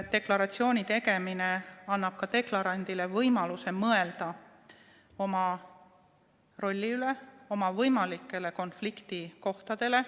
Deklaratsiooni tegemine annab deklarandile ka võimaluse mõelda oma rolli üle, oma võimalikele konfliktikohtadele.